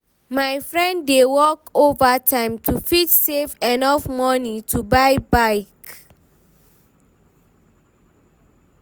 my friend dey work overtime to fit save enough money to buy bike